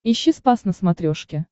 ищи спас на смотрешке